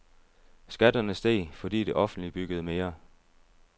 Skatterne steg, fordi det offentlige byggede mere.